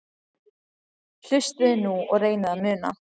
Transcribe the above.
Hlustiði nú og reynið að muna